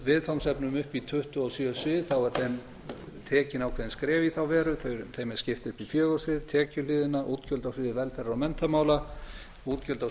viðfangsefnum upp í tuttugu og sjö svið eru tekin ákveðin skref í þá veru þeim er skipt upp í fjögur svið tekjuhliðina útgjöld á sviði velferðar og menntamála útgjöld á